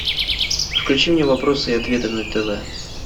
включи мне вопросы и ответы на тв